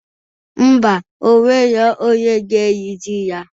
Ḿbà, onwero onye ga-erizi ya